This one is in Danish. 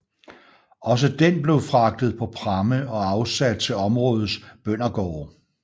Også den blev fragtet på pramme og afsat til områdets bøndergårde